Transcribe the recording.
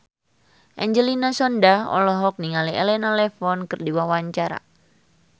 Angelina Sondakh olohok ningali Elena Levon keur diwawancara